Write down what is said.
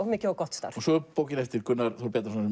mikið og gott starf svo er bókin eftir Gunnar Þór Bjarnason